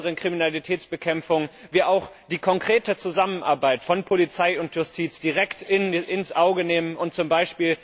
zur besseren Kriminalitätsbekämpfung kommen, die konkrete Zusammenarbeit von Polizei und Justiz direkt ins Auge nehmen, und z. B.